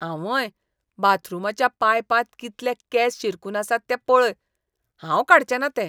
आंवंय! बाथरूमाच्या पायपांत कितले केंस शिरकून आसात तें पळय. हांव काडचें ना ते.